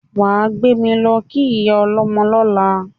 Wà á gbé mi lọ́ kí ìyá ọlọ́mọ lọ́la!